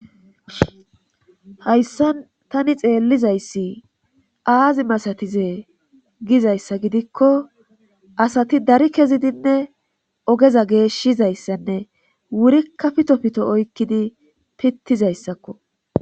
hayssan tani xeellizayssi aazi masatize gizayssa gidikko asati dari kezidinne ogeza geeshshizayssanne wurikka pito pito oykkidi pittizayssakko.